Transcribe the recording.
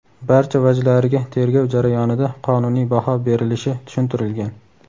barcha vajlariga tergov jarayonida qonuniy baho berilishi tushuntirilgan.